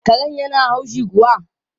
Karen yana haushi kuwa?